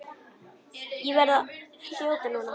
Ég verð að þjóta núna.